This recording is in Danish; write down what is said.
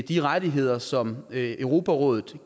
de rettigheder som europarådet